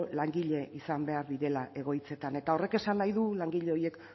langile izan behar direla egoitzetan eta horrek esan nahi du langile horiek